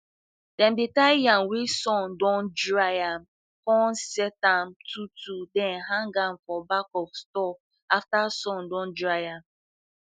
dem dey tie yam wey sun dun dry am cun set am twotwo then hang am for back of store after sun don dry am